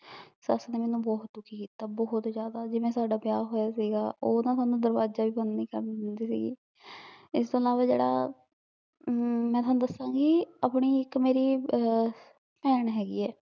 ਸਾਸ ਮੇਇਰ ਨੇ ਬੋਹਤ ਦੁਖੀ ਕੀਤਾ ਬੋਹਤ ਜ਼੍ਯਾਦਾ ਜਿਵੇਂ ਸਦਾ ਵਿਯਾਹ ਹੋਯਾ ਸੀਗਾ ਊ ਨਾ ਮੇਨੂ ਦਰਵਾਜ਼ਾ ਵੀ ਬੰਦ ਨਹੀ ਕਰਨ ਦੇਂਦੀ ਸੀਗੀ ਏਸ ਤੋਂ ਬਾਅਦ ਜੇਰਾ ਮੈਂ ਹੁਣ ਦਸੋ ਗੀ ਆਪਣੀ ਜੇਰੀ ਏਇਕ ਪੈਣ ਹੇਗੀ ਆ